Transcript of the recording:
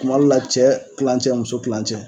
Kuma dɔ la , cɛ tilancɛ muso tilancɛ.